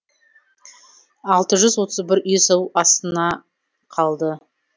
алты жүз отыз бір үй су астына қалды